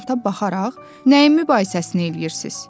Afisanta baxaraq, nəyi mübahisəsini eləyirsiz?